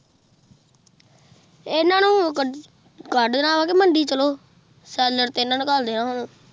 ਇਹਨਾਂ ਨੂੰ ਕੱਢਣਾ ਵਾ ਕਿ ਮੰਡੀ ਚੱਲੋ ਸੈੱਲਰ ਤੇ ਇਹਨੂੰ ਨੂੰ ਘੱਲ਼ਦੇ ਆ ਹੁਣ।